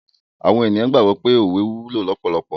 Awon eniyan gbagbo wipe owe wulo lopolopo